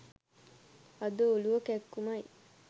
අද ඔලුව කැක්කුමයි